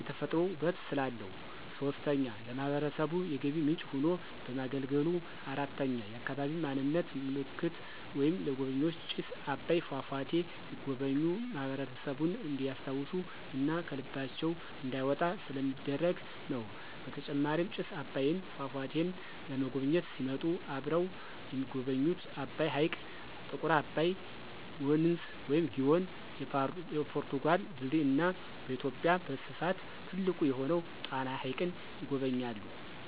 የተፈጥሮ ውበት ስላለው። 3, ለማህበረሰቡ የገቢ ምንጭ ሆኖ በማገልገሉ። 4, የአካባቢ ማንነት ምልክት ወይም ለጎብኝዎች ጭስ አባይ ፏፏቴ ሲጎበኙ ማህበረሰቡን እንዲስታውሱ እና ከልባቸው እንዳይወጣ ስለሚደረግ ነው። በተጨማሪም ጭስ አባይን ፏፏቴን ለመጎብኝት ሲመጡ አብረው የሚጎበኙት አባይ ሕይቅ፣ ጥቁር አባይ ወንዝ(ግዮን) ፣የፖርቱጋል ድልድይ እና በኢትዮጵያ በስፍት ትልቅ የሆነውን ጣና ሀይቅን ይጎበኛሉ።